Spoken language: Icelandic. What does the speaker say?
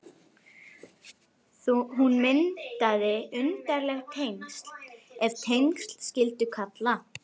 Hún myndaði undarleg tengsl, ef tengsl skyldi kalla.